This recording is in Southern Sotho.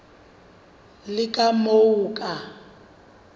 le ka moo o ka